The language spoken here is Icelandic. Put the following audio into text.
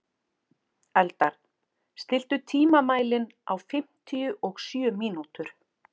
Eldar, stilltu tímamælinn á fimmtíu og sjö mínútur.